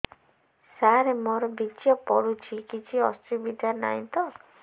ସାର ମୋର ବୀର୍ଯ୍ୟ ପଡୁଛି କିଛି ଅସୁବିଧା ନାହିଁ ତ